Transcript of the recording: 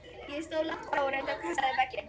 Ég stóð langt frá og reyndi að kasta í vegginn.